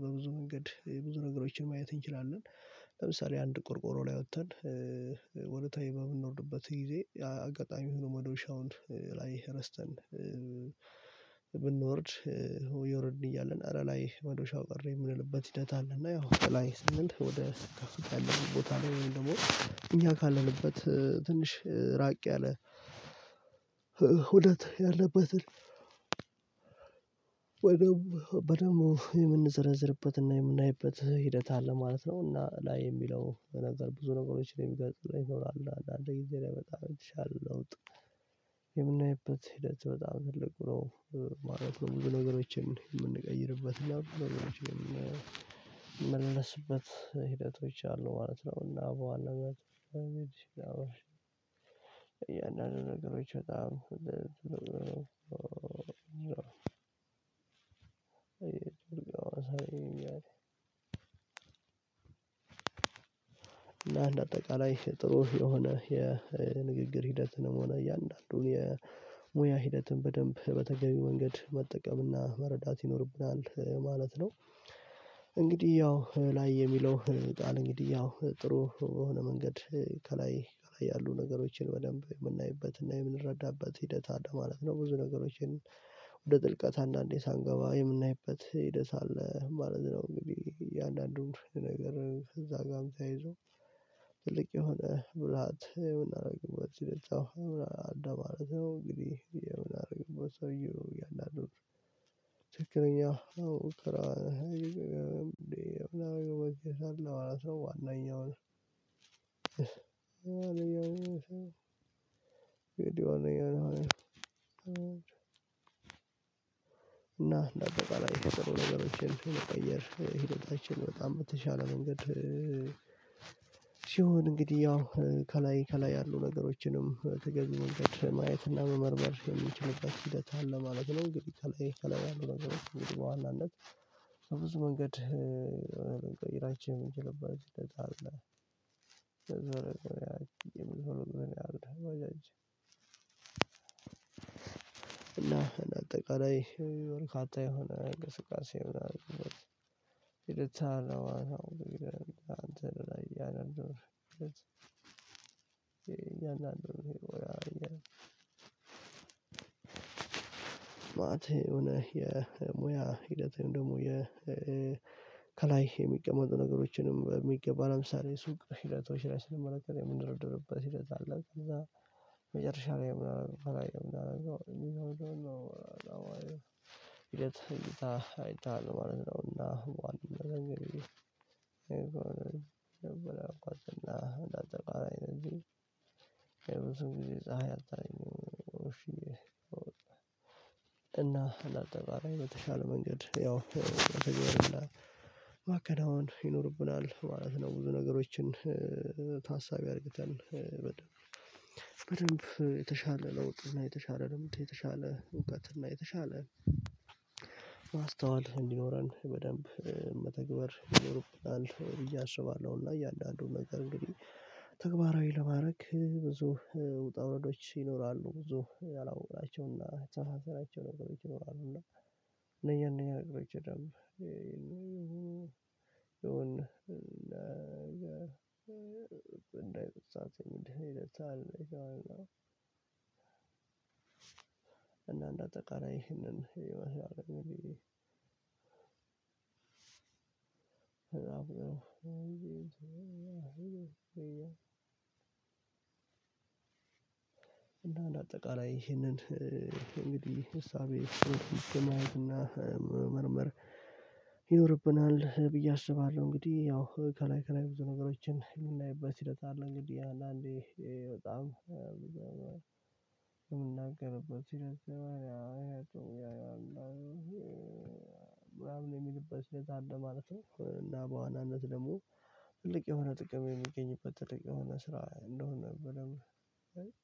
በብዙ መንገድ ብዙ ነገሮችን ማየት እንችላለን። ለምሳሌ አንድ ቆርቆሮ ላይ ወጥተን ወደ ታይ በምንወርድበት ጊዜ አጋጣሚ ሆኖ መዶሻውን ላይ ረስተን ብንወርድ እየወረድን እያለን አረ ላይ መዶሻው ቀረ የምንልበት ሂደት አለ። እና ያው ላይ ስንል ወደ ከፍታ ያለን ቦታ ነው ወይም ደግሞ እኛ ካለንበት ትንሽ ራቅ ያለ ሁነት ያለበትን ወደው በደንብ የምንዘረዝርበትና የምናይበት ሂደት አለ ማለት ነው። እና ላይ የሚለው ነገር ብዙ ነገሮች ነው የሚገልልኝ ይኖራሉ አንድ ጊዜ ላይ በጣም ይሻላል ለውጥ የምናይበት ሂደት በጣም ትልቁ ነው ማለት ነው። በነገሮችን የምንቀይርበት እና ነገሮችን የሚመለስበት ሂደቶች አሉ ማለት ነው። እና በዋናነት እያንዳንዱ ነገሮች በጣም እና እንደ አጠቃላይ ጥሩ የሆነ የንግግር ሂደትንም ሆነ እያንዳንዱን የሙያ ሂደትን በደንብ በተገቢው መንገድ መጠቀምና መረዳት ይኖርብናል ማለት ነው። እንግዲህ ያው ላይ የሚለው ቃል እንግዲህ ያው ጥሩ የሆነ መንገድ ከላይ ከላይ ያሉ ነገሮችን በደንብ የምናይበትና የምንረዳበት ሂደት አለ ማለት ነው። ብዙ ነገሮችን ወደ ጥልቀት አንዳንዴ ሳንገባ የምናይበት ደስ አለ ማለት ነው። እንግዲህ እያንዳንዱን ነገር ከዛ ጋርም ተያይዞ ትልቅ የሆነ ብልሃት የምናደርግበት ይለጣው ምናምን እንደማለት ነው። እንግዲህ የምናደርገው ሰውየው እያለ አድርገው ትክክለኛ አዎ እኮ እንዴ እናደርግበት እንዴ ሰርተው ዋነኛውን አለያውን ግድ ያው ነው ያው ነው። እና ለአጠቃላይ ላይ የጥሩ ነገሮችን መቀየር ሂደታችን በጣም በተሻለ መንገድ ሲሆን እንግዲህ ያው ከላይ ከላይ ያሉ ነገሮችንም በተገቢው መንገድ ማየት እና መመርመር የሚችልበት ሂደት አለ ማለት ነው። እንግዲህ ከላይ ከላይ ያሉት ነገሮች እንግዲህ በዋናነት ከብዙ መንገድ ቀይራችን የምንችልበት አጠቃላይ ርካታ የሆነ እንቅስቃሴ ሆነ ሂደት አለው ማለት ነው። አንተ ላይ ያንን ነው ይሄ እኛ አንተን ላይ ያንን መአት የሆነ የሙያ ሂደቴን ደግሞ የ ከላይ የሚቀመጡ ነገሮችንም በሚገባ ለምሳሌ ሱቅ ሽረቶች ላይ ስለመረጥን የምንረዳረበት ሲል እዛ አለ ከዛ መጨረሻ ላይ የምናደርገው አላየም የምናደርገው አይታ አይታ ማለት ነውና። እንኳን እንኳን እና እንደ አጠቃላይ ነው እንጂ የብዙ ጊዜ ፀሀይ አጣለኝ። እና ለአጠቃላይ ለተሻለ መንገድ ያው ማከናወን ይኖርብናል ማለት ነው። ብዙ ነገሮችን ታሳቢ አድርገን በደንብ በደንብ የተሻለ ለውጥ እና የተሻለ ልምድ የተሻለ እውቀት እና የተሻለ ማስተዋል እንዲኖረን በደንብ መተግበር ይኖርብናል ብዬ አስባለሁ። እና እያንዳንዱን ነገር እንግዲህ ተግባራዊ ለማድረግ ብዙ ውጣ ውረዶች ይኖራሉ ብዙ ያላወቅናቸውና ነገሮች ይኖራሉ። እና እነኛ እነኛ ነገሮች ይደም ይሁን እንዳይጠፍቀኝ እንዳይ ደስ አለኝ። እና እንዳጠቃላይ ይህንን እና አንደ አጠቃላይ ይህንን እንግዲህ ሀሳቤ ማየትና እና መመርመር ይኖርብናል ብዬ አስባለሁ። እንግዲህ ያው ከላይ ከላይ ብዙ ነገሮችን የምናይበት ሂደት አለ እንግዲህ አንዳንዴ በጣም የምናገርበት ሲረዝም አይቶ ያየው አይሄድም የሚልበት ሁኔታ አለ ማለት ነው። እና በዋናነት ደግሞ ትልቅ የሆነ ጥቅም የሚገኝበት ትልቅ የሆነ ስራ እንደሆነ ብለህ